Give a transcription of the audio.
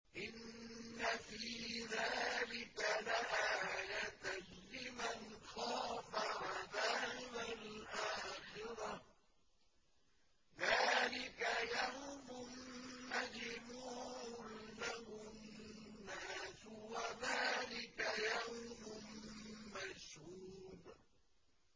إِنَّ فِي ذَٰلِكَ لَآيَةً لِّمَنْ خَافَ عَذَابَ الْآخِرَةِ ۚ ذَٰلِكَ يَوْمٌ مَّجْمُوعٌ لَّهُ النَّاسُ وَذَٰلِكَ يَوْمٌ مَّشْهُودٌ